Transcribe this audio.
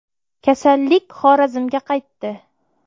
Kasallik Xorazmga qaytdi.